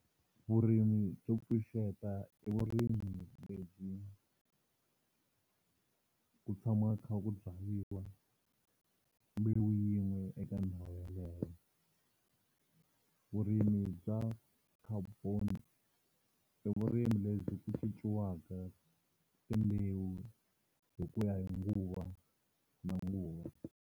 Vurimi byo pfuxeta i vurimi lebyi ku tshama ku kha ku byariwa mbewu yin'we eka ndhawu yaleyo. Vurimi bya khboni i vurimi lebyi ku cinciwaka timbewu hi ku ya hi nguva na nguva.